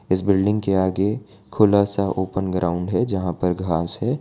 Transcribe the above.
इस बिल्डिंग के आगे खुला सा ओपन ग्राउंड है जहां पर घास है।